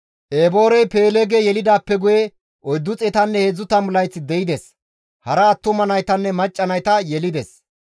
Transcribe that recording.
Eboorey Peeleege yelidaappe guye 430 layth de7ides; hara attuma naytanne macca nayta yelides.